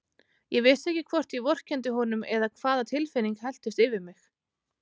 Ég vissi ekki hvort ég vorkenndi honum eða hvaða tilfinning helltist yfir mig.